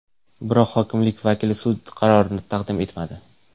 Biroq hokimlik vakili sud qarorini taqdim etmadi.